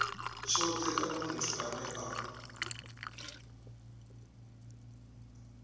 tshothe kana muthu ane a